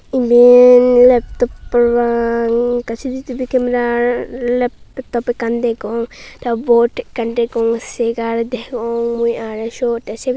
eben leptop parapang ekke sisitivi kemera leptopo ekkan degong tey bot ekkan degong segar degong mui arw siot tey sey pi.